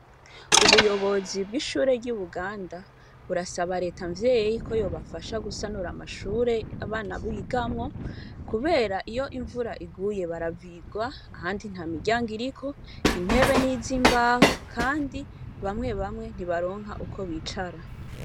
Ubuyobozi bw'ishure ry'i Buganda burasaba Reta Mvyeyi ko yobafasha gusanura amashure abana bigamwo kubera iyo imvura iguye baravirwa, kandi ntamiryango iriko, intebe ni iz'imbaho kandi bamwe bamwe ntibaronka uko bicara.